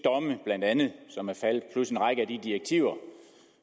blandt andet de som er faldet plus en række af de direktiver